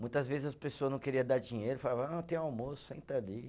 Muitas vezes as pessoa não queriam dar dinheiro, falavam, ah, tem almoço, senta ali.